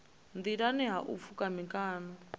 nḓilani ha u pfuka mikano